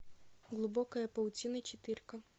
глубокая паутина четырка